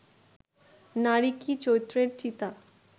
নারী কি চৈত্রের চিতা